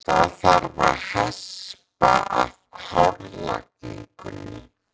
Það þarf að hespa af hárlagningunni.